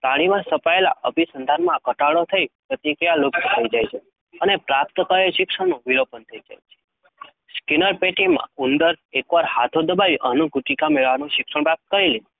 પ્રાણીમાં સ્થપાયેલા અભિસંધાનમાં ઘટાડો થઈ પ્રતિક્રિયા લુપ્ત થઈ જાય છે અને પ્રાપ્ત કરેલ શિક્ષણનું વિલોપન થાય છે. સ્કિનર પેટીમાં ઉંદર એકવાર હાથો દબાવી અન્નગુટિકા મેળવવાનું શિક્ષણ પ્રાપ્ત કરી લે